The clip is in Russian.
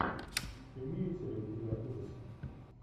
имеются ли у тебя ужасы